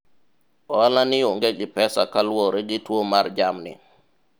ohala ni onge gi pesa kaluwore gi tuwo mar jamni